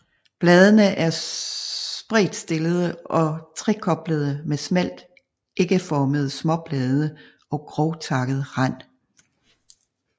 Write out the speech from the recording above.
Bladene er spredtstillede og trekoblede med smalt ægformede småblade og grovtakket rand